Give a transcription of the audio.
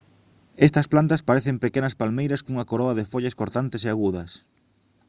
estas plantas parecen pequenas palmeiras cunha coroa de follas cortantes e agudas